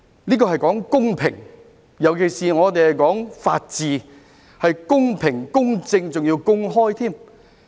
這是關乎公平，尤其是我們講求法治，要公平、公正而且公開。